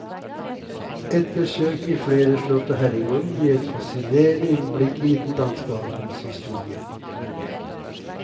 Et besøk i flere slott og herregårder gir et fascinerende innblikk i den danske adelens historie.